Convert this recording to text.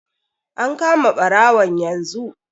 An kama barawon yanzu.